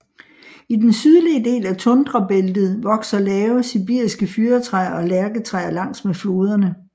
I den sydlige del af tundrabæltet vokser lave sibiriske fyrretræer og lærketræer langs med floderne